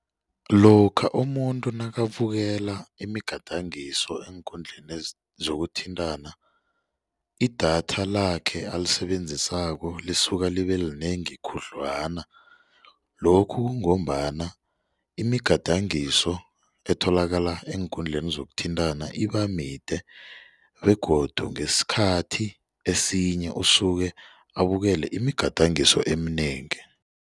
Lokha umuntu nakabukela imigadangiso eenkundleni zokuthintana idatha lakhe alisebenzisako lisuke libe linengi khudlwana lokhu kungombana imigadangiso etholakala eenkundleni zokuthintana iba mide begodu ngesikhathi esinye usuke abukele imigadangiso eminengi.